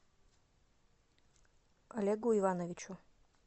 олегу ивановичу